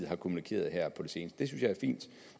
har kommunikeret her på det seneste det synes jeg er fint